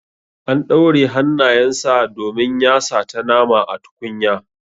An ɗaure hannayen sa domin ya sata nama a tukunya.